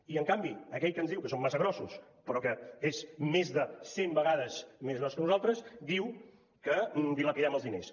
i en canvi aquell que ens diu que som massa grossos però que és més de cent vegades més gros que nosaltres diu que dilapidem els diners